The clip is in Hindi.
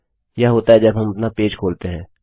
यह होता है जब हम अपना पेज खोलते हैं